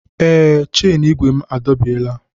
Ee, chen igwe m adọbiela.